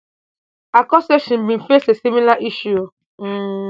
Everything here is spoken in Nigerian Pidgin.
akol say she bin face a similar issue um